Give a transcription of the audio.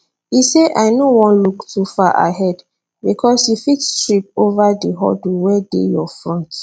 e say i no wan look too far ahead bicos you fit trip ova di hurdle wey dey your front